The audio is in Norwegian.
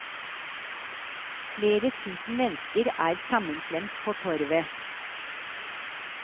Flere tusen mennesker er sammenklemt på torvet.